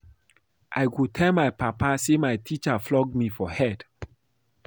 I go tell my papa say my teacher flog me for head